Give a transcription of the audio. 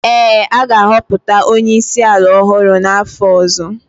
ee, a ga-ahọpụta onye isi ala ọhụrụ n’afọ ọzọ